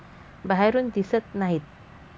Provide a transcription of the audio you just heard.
बाहेरून दिसत नाहीत.